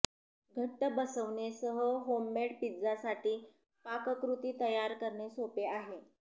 घट्ट बसवणे सह होममेड पिझ्झा साठी पाककृती तयार करणे सोपे आहे